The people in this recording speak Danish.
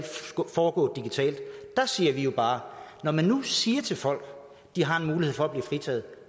foregå digitalt der siger vi bare når man nu siger til folk at de har en mulighed for at blive fritaget